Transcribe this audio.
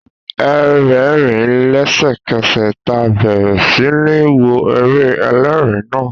A rẹ́ẹ̀rín lésẹ̀kẹsẹ̀ taa bẹ̀rẹ̀ sí ní wo eré ẹlẹ́rin naa